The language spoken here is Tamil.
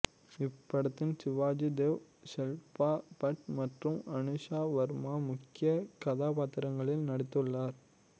இப்படத்தில் சிவாஜி தேவ் ஷில்பா பட் மற்றும் அனுஷா வர்மா முக்கிய கதாபாத்திரங்களில் நடித்துள்ளனர்